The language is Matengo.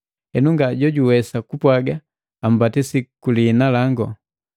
Henu ngajojuwesa kupwaga ambatisi kulihina lango.